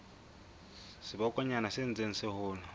sebokonyana se ntseng se hola